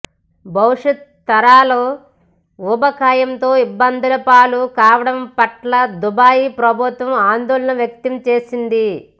భవిష్యత్ తరాలు ఊబకాయంతో ఇబ్బందులపాలు కావడం పట్ల దుబాయి ప్రభుత్వం ఆందోళన వ్యక్తం చేసింది